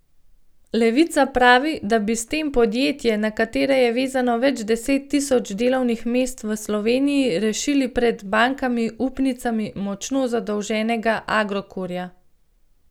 Levica pravi, da bi s tem podjetje, na katerega je vezano več deset tisoč delovnih mest v Sloveniji, rešili pred bankami upnicami močno zadolženega Agrokorja.